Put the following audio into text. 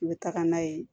I bɛ taga n'a ye